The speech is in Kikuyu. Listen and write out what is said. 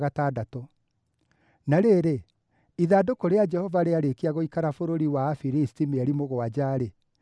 Na rĩrĩ, ithandũkũ rĩa Jehova rĩarĩkia gũikara bũrũri wa Afilisti mĩeri mũgwanja-rĩ,